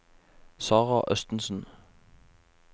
Sarah Østensen